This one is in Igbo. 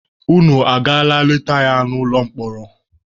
Unu agaala leta ya n'ụlọ mkpọrọ?